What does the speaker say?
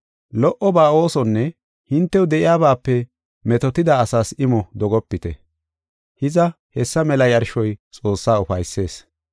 Lo77oba oosonne hintew de7iyabaape metootida asaas imo dogopite. Hiza, hessa mela yarshoy Xoossaa ufaysees.